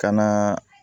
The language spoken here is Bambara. Ka na